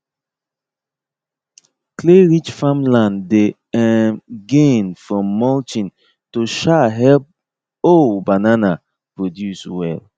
clayrich farmland dey um gain from mulching to um help um banana produce well